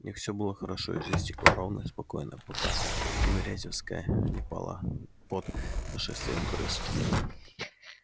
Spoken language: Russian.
у них все было хорошо и жизнь текла ровно и спокойно пока тимирязевская не пала под нашествием крыс